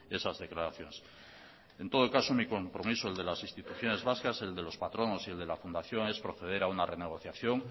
esas declaraciones en todo caso mi compromiso el de las instituciones vascas el de los patronos y el de la fundación es proceder a una renegociación